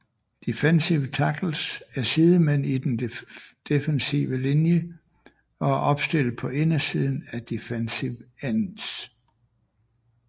Defensive tackles er sidemænd i den defensive linje og er opstillet på indersiden af defensive ends